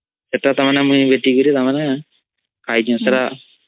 ଅମ୍